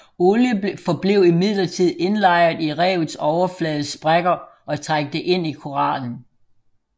Olie forblev imidlertid indlejret i revets overflades sprækker og trængte ind i korallen